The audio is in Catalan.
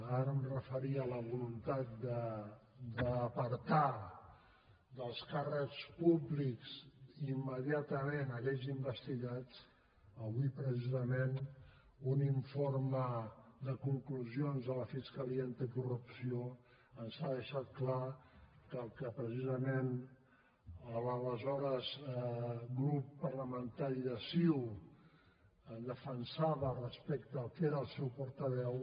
ara em referia a la voluntat d’apartar dels càrrecs públics immediatament aquells investigats avui precisament un informe de conclusions de la fiscalia anticorrupció ens ha deixat clar que allò que l’aleshores grup parlamentari de ciu defensava respecte al que era el seu portaveu